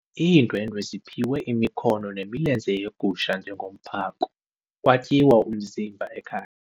Iindwendwe ziphiwe imikhono nemilenze yegusha njengomphako kwatyiwa umzimba ekhaya.